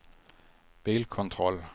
bilkontroll